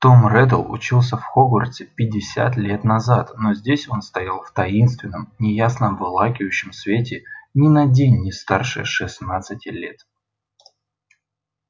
том реддл учился в хогвартсе пятьдесят лет назад но здесь он стоял в таинственном неясно обволакивающем свете ни на день не старше шестнадцати лет